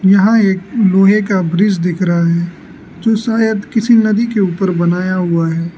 यहां एक लोहे का ब्रिज दिख रहा है जो शायद किसी नदी के ऊपर बनाया हुआ है।